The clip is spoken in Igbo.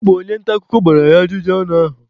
Ọ bụ onye nta akụkọ gbara ya ajụjụ ọnụ ụnyaahụ.